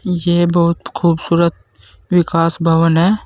ये बहोत खूबसूरत विकास भवन है।